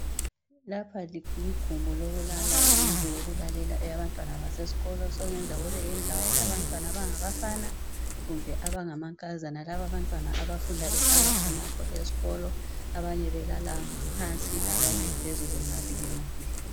Lapha ligumbi, lokulala yindlu yokulalela. eyabantwana basasesikolo. Sekungenzeka kube yindlawo yabantwana abangabafana kumbe abangamankazana. Lababantwana, abafunda behlala khonapho esikolo. Abanye belala phansi, abanye belala phezulu. Ngabili, ngabili.